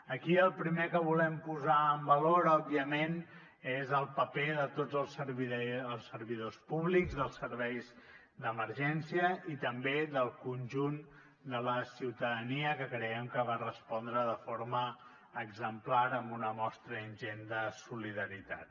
aquí el primer que volem posar en valor òbviament és el paper de tots els servidors públics dels serveis d’emergència i també del conjunt de la ciutadania que creiem que va respondre de forma exemplar amb una mostra ingent de solidaritat